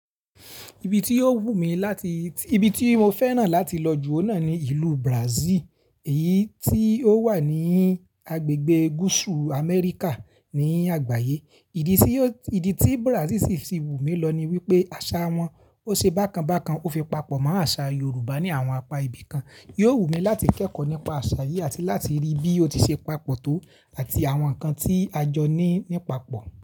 Ibi tí ó wù mí láti, ibi tí mo fẹ́ràn láti lọ jù oun náà ni ìlú Brazil, èyí tí ó wà ní agbègbè gúúsù Amẹ́ríkà ní àgbáyé. Ìdí tí, ìdí tí Brazil si fi wù mí lọ ni wípé àṣà wọn ó ṣe bákan bákan ó fi papọ̀ mọ́ àṣà Yorùbá ní àwọn apa ibi kan. Yóò wù mí láti kẹ́kọ̀ọ́ nípa àṣà yìí àti láti rí bí ó ti ṣe papọ̀ tó àti àwọn nǹkan tí a jọ ní nípa pọ̀